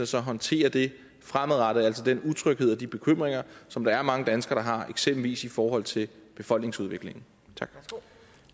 så håndtere det fremadrettet altså den utryghed og de bekymringer som der er mange danskere der har eksempelvis i forhold til befolkningsudviklingen